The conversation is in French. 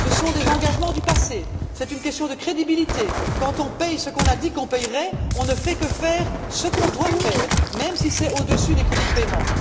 Ce sont des engagements du passé, c'est une question de crédibilité quand on paie ce qu'on a dit qu'on paierait, on ne fait que faire ce qu'on doit faire, même si c'est au dessus des crédits de paiement.